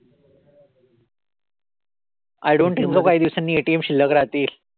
I don't think so काही दिवसांनी ATM शिल्लक राहतील.